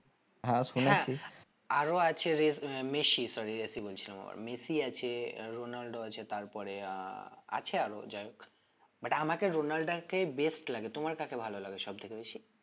আরো আছে রেস আহ মেসি sorry রেশি বলছিলাম আবার মেসি আছে আহ রোনাল্ডো আছে তারপরে আহ আছে আরো যাই হোক but আমাকে রোলান্ডা কে best লাগে তোমার কাকে ভালো লাগে সব থেকে বেশি?